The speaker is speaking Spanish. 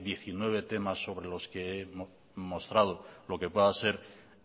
diecinueve temas sobre los que he mostrado lo que pueda ser